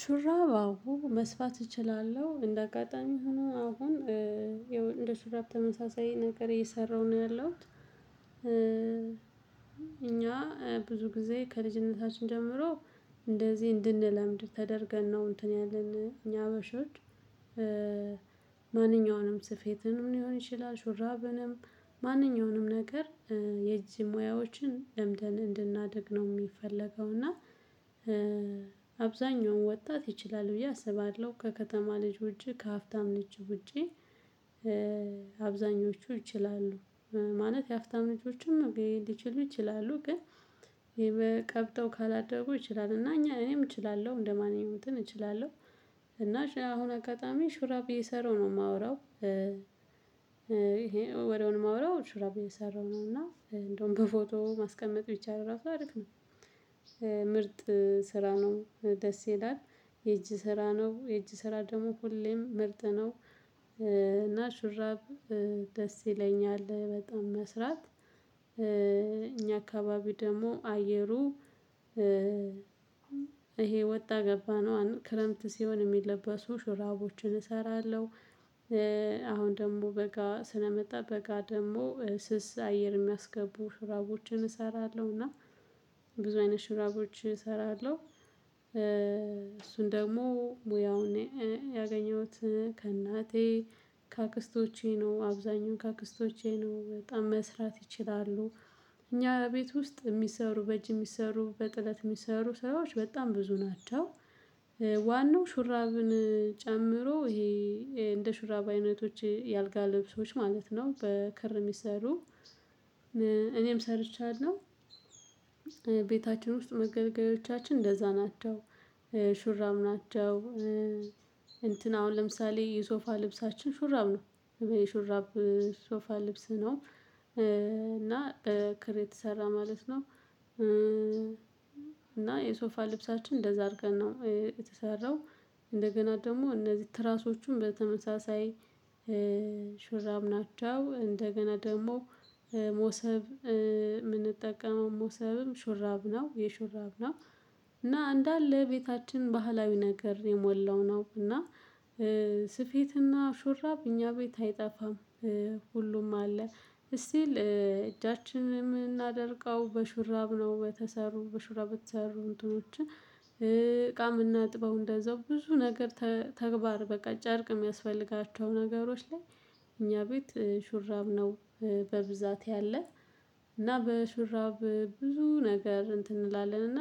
ሹራብ አሁን መስፋት እችላለሁ እንደ አጋጣሚ ሆኖ አሁን ያው እንደ ሹራብ ተመሳሳይ ነገር እየሰራሁ ነው ያለሁት። እኛ ብዙ ጊዜ ከልጅነታችን ጀምሮ እንደዚህ እንድንለምድ ተደርገን ነው እንትን ያለን እኛ ሃበሾች። ማንኛውንም ስፌትንም ሊሆን ይችላል ሹራብንም ማንኛውንም ነገር የእጅ ሙያዎችን ለምደን እንድናድግ ነው የሚፈለገው። እና አብዛኛው ወጣት ይችላል ብዬ አስባለሁ። ከከተማ ልጅ ውጪ ከሀፍታም ልጅ ውጪ አብዛኞቹ ይችላሉ። ማለት የሃብታም ልጆችም ሊችሉ ይችላሉ ግን ቀብጠው ካላደረጉ ይችላሉ እና እኛ እኔም እችላለሁ እንደማንኛው እንትን እችላለሁ። እና አሁን አጋጣሚ ሹራብ የሰራው ነው የማወራው ይሄ ወደውም የማወራው ሹራብ እየሰራው ነው። እና እንደውም በፎቶ ማስቀመጥ ቢቻል እራሱ አሪፍ። ምርጥ ስራ ነው ደስ ይላል። የእጅ ስራ ነው የእጅ ስራ ደግሞ ሁሌም ምርጥ ነው። እና ሹራብ ደስ ይለኛል በጣም መስራት። እኛ አካባቢ ደግሞ አየሩ ይሄ ወጣ ገባነው ክረምት ሲሆን የሚለበሱ ሽራቦችን እሰራለሁ። አሁን ደግሞ በጋ ስለመጣ በጋ ደግሞ ስስ አየር የሚያስገቡ ሽራቦችን እሰራለሁ እና ብዙ አይነት ሽራቦች እሰራለሁ። እሱን ደግሞ ሙያውን ያገኘሁት ከእናቴ ከአክስቶቼ ነው። አብዛኛው ከአክስቶቼ ነው በጣም መስራት ይችላሉ። እኛ ቤት ውስጥ የሚሰሩ በእጅ የሚሰሩ በጥለት የሚሰሩ ሰራዎች በጣም ብዙ ናቸው። ዋናው ሹራብን ጨምሮ ይሄ እንደ ሹራብ አይነቶች የአልጋ ልብሶች ማለት ነው በከር የሚሰሩ እኔም ሰርቻለሁ። ቤታችን ውስጥ መገልገያዎቻችን እንደዛ ናቸው። ሹራብ ናቸው እንትን አሁን ለምሳሌ የሶፋ ልብሳችን ሹራብ ነው የሹራብ ሶፋ ልብስ ነው። እና በክር የተሰራ ማለት ነው። እና የሶፋ ልብሳችን እንደዛ አድርገን ነው የተሰራው። እንደገና ደግሞ እነዚህ ትራሶቹም በተመሳሳይ ሹራብ ናቸው። እንደገና ደግሞ ሞሰብ የምንጠቀመው ሞሰብም ሹራብ ነው የሹራብ ነው። እና እንዳለ ቤታችን ባህላዊ ነገር የሞላው ነው። እና ስፌትና ሹራብ እኛ ቤት አይጠፋም ሁሉም አለ። ሲቲል እጃችንን የምናደርቀው በሹራብ ነው። በተሰሩ በሹራ በተሰሩ እንትኖችን እቃ የምናጥበው እንደዛው ብዙ ነገር ተግባር በቃ ጨርቅ የሚያስፈልጋቸው ነገሮች ላይ እኛ ቤት ሹራብ ነው። በብዛት ያለ እና በሹራብ ብዙ ነገር እንትን እንላለን እና።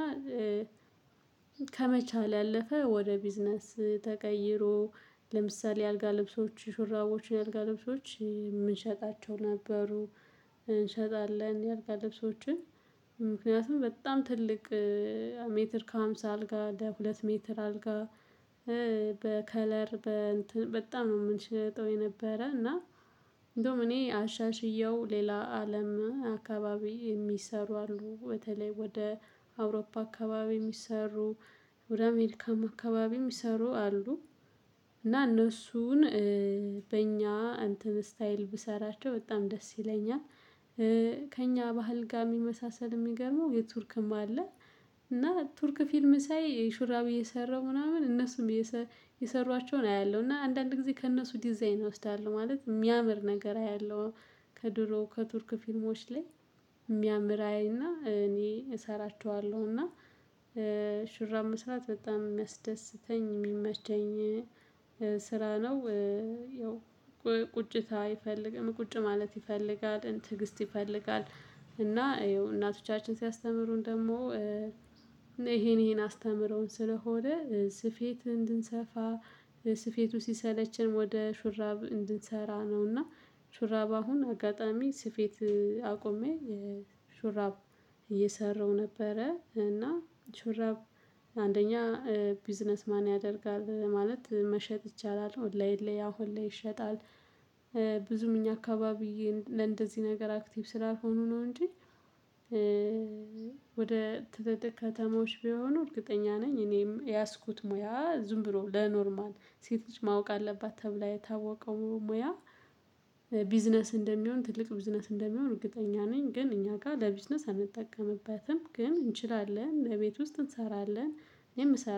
ከመቻል ያለፈ ወደ ቢዝነስ ተቀይሮ ለምሳሌ የአልጋ ልብሶች ሹራቦች የአልጋ ልብሶች የምንሸጣቸው ነበሩ። እንሸጣለን የአልጋ ልብሶችን። ምክንያቱም በጣም ትልቅ ሜትር ከሃምሳ አልጋ ለሁለት ሜትር አልጋ በከለር በጣም ነው የምንሸጠው የነበረ እና። እንደውም እኔ አሻሽየው ሌላ አለም አካባቢ የሚሰሩ አሉ በተለይ ወደ አውሮፓ አካባቢ የሚሰሩ ወደ አሜሪካም አካባቢ የሚሰሩ አሉ። እና እነሱን በእኛ አንትን ስታይል ብሰራቸው በጣም ደስ ይለኛል። ከእኛ ባህል ጋር የሚመሳሰል የሚገርመው የቱርክም አለ። እና ቱርክ ፊልም ሳይ ሹራብ እየሰራው ምናምን እነሱም የሰሯቸውን አያለሁ። እና አንዳንድ ጊዜ ከእነሱ ዲዛይን እወስዳለሁ ማለት የሚያምር ነገር ያለው። ከድሮ ከቱርክ ፊልሞች ላይ የሚያምር አይና እኔ እሰራቸዋለሁና። ሹራብ መስራት በጣም የሚያስደስተኝ የሚመቸኝ ስራ ነው። ያው ቁጭታ አይፈልግም ቁጭ ማለት ይፈልጋል ትዕግስት ይፈልጋል። እና ያው እናቶቻችን ሲያስተምሩን ደግሞ ይሄን ይሄን አስተምረውን ስለሆነ ስፌት እንድንሰፋ ስፌቱ ሲሰለቸን ወደ ሹራብ እንድንሰራ ነውና። ሹራብ አሁን አጋጣሚ ስፌት አቁሜ የሹራብ ሹራብ እየሰራው ነበረ። እና ሹራብ አንደኛ ቢዝነስ ማን ያደርጋል ማለት መሸጥ ይቻላል ኦንላይን ላይ አሁን ላይ ይሸጣል። ብዙም እኛ አካባቢ ለእንደዚህ ነገር አክቲቭ ስላልሆኑ ነው እንጂ። ወደ ትልልቅ ከተማዎች ቢሆኑ እርግጠኛ ነኝ እኔም የያዝኩት ሙያ ዝም ብሎ ለኖርማል ሴቶች ማወቅ አለባት ተብላ የታወቀው ሙያ። ቢዝነስ እንደሚሆን ትልቅ ቢዝነስ እንደሚሆን እርግጠኛ ነኝ። ግን እኛ ጋር ለቢዝነስ አንጠቀምበትም ግን እንችላለን በቤት ውስጥ እንሰራለን እኔም ምሰራ